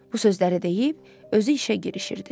Bu sözləri deyib, özü işə girişirdi.